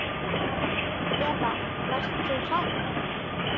Eva: Varst þú hrædd?